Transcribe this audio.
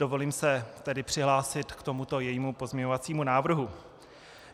Dovolím se tedy přihlásit k tomuto jejímu pozměňovacímu návrhu.